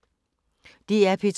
DR P2